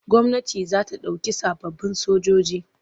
Gwamnati za ta ɗauki sababbin sojoji.